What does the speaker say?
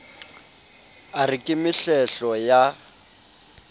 a re ke mehlehlo ya